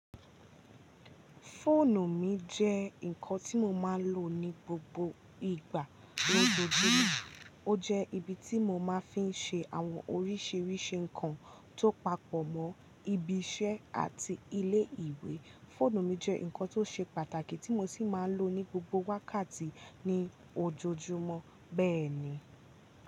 Fóònù mi jẹ́ nǹkan tí mo máa lò ní gbogbo ìgbà lójoojúmó. Ó jẹ́ ibi tí mo máa fí ń ṣe àwọn oríṣiríṣi nǹkan tó papọ̀ mọ́ ibi iṣẹ́ àti ilé ìwé. Fóònù mi jẹ́ nǹkan tó ṣe pàtàkì tí mo sì máa lò ní gbogbo wákàtí ní ojoojúmọ́ bẹ́ẹ̀ ni.